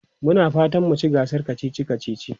Muna fatan mu ci gasar kacici kacici.